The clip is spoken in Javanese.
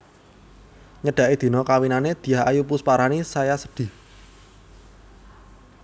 Nyedaki dina kawinane Dyah Ayu Pusparani saya sedih